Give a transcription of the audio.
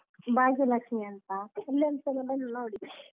ಭಾಗ್ಯಲಕ್ಷಿ ಅಂತ ಇಲ್ಲೊಂದ್ಸಲ ಬಂದು ನೋಡಿ.